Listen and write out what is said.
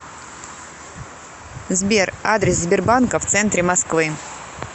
сбер адрес сбербанка в центре москвы